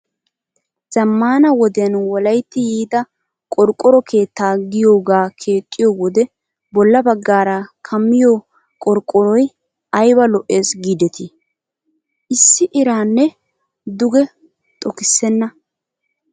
Zammaana wodiyan wolayitti yiida qorqqoroo keetta giyoogaa keexxiyoo wode bolla baggaara kammiyoo qorqqoroyi ayiba lo'es giideti. Issi iranne duge xokissenna.